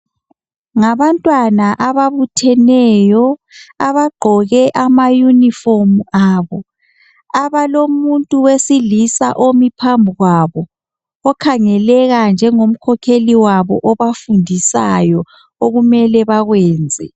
Ngabantwana ababutheneyo abagqoke amayunifomu abo abalomuntu wesilisa omi phambi kwabo okhangeleka njengomkhokheli wabo obafundisayo okumele bakwenze.